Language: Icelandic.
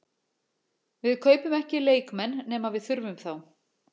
Við kaupum ekki leikmenn nema við þurfum þá.